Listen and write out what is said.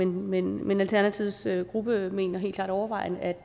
men men alternativets gruppe mener helt klart overvejende at